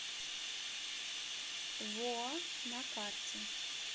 воа на карте